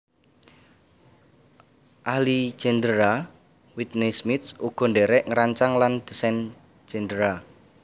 Ahli gendéra Whitney Smith uga ndherek ngerancang lan disain gendéra